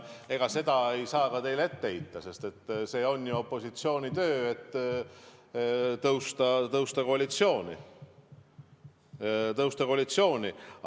Ega seda ei saa teile ka ette heita, sest see on ju opositsiooni töö, tõusta koalitsiooni.